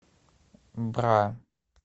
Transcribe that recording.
бра